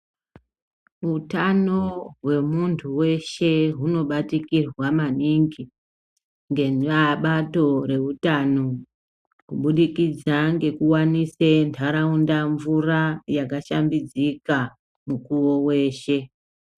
Utano hwemuntu weshe hunobatikirwa maningi ngebato reutano kubudikidza ngekuwanise ntaraunda mvura yakashambidzika mukuwo weshe.